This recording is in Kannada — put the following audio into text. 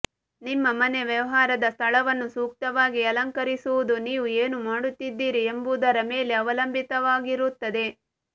ನಿಮ್ಮ ಮನೆ ವ್ಯವಹಾರದ ಸ್ಥಳವನ್ನು ಸೂಕ್ತವಾಗಿ ಅಲಂಕರಿಸುವುದು ನೀವು ಏನು ಮಾಡುತ್ತಿದ್ದೀರಿ ಎಂಬುದರ ಮೇಲೆ ಅವಲಂಬಿತವಾಗಿರುತ್ತದೆ